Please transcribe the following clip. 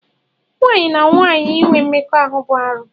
Nwaanyị na nwaanyị inwe mmekọ bụ arụ.